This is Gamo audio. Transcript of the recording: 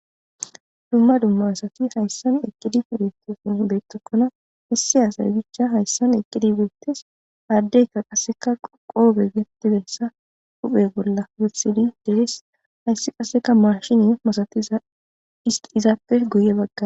Dumma dumma asati haysan eqidi betokona issi asay bicha haysan eqidi betes ha adeyka qaseka qofe huphe bola wothidi de'es haysi qase mashine masatiza izape guye bagara des